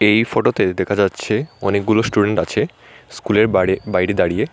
এই ফটোতে দেখা যাচ্ছে অনেকগুলো স্টুডেন্ট আছে স্কুলের বারে-বাইরে দাঁড়িয়ে।